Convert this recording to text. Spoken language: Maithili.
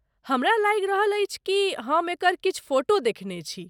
हमरा लागि रहल अछि कि हम एकर किछु फोटो देखने छी।